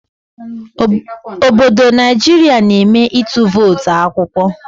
Obodo Naijiria na eme ịtụ votu akwụkwọ